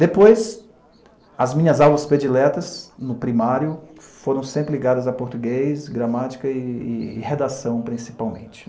Depois, as minhas aulas prediletas, no primário, foram sempre ligadas a português, gramática e redação, principalmente.